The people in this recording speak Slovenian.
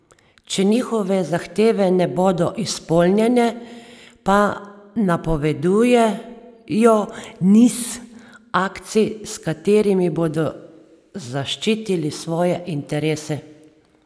Če njihove zahteve ne bodo izpolnjene, pa napovedujejo niz akcij, s katerimi bodo zaščitili svoje interese.